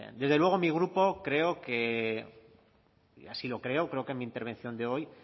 desde luego mi grupo creo que y así lo creo creo que en mi intervención de hoy